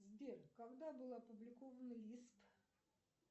сбер когда был опубликован лист